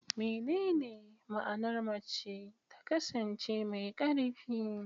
Menene ma'anar mace ta kasance mai ƙarfi?